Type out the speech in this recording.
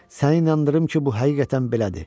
Səni inandırım ki, bu həqiqətən belədir.